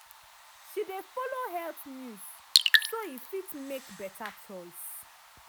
she dey follow health news so e fit make better choice.